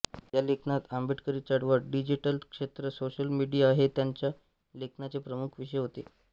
या लेखनात आंबेडकरी चळवळ डिजीटल क्षेत्र सोशल मिडीया हे त्यांच्या लेखनाचे प्रमुख विषय होते